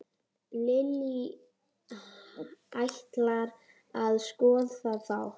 Lillý: Ætlarðu að skoða þá?